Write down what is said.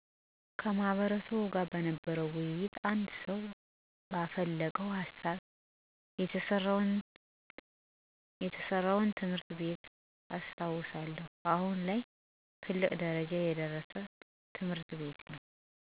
ከማሕበረሰቡ ጋር በነበረ ውይይት አንድ ሰው ባፈለቀው ሀሳብ የተሰራውን ትምህርት ቤት አስታውሳለሁ አሁን ላይ ትልቅ ደረጃ የደረሰ ትምህርት ቤት ነው